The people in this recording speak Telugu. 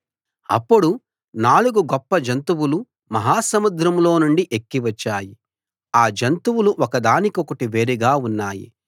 అప్పుడు నాలుగు గొప్ప జంతువులు మహా సముద్రంలో నుండి ఎక్కి వచ్చాయి ఆ జంతువులు ఒక దానికొకటి వేరుగా ఉన్నాయి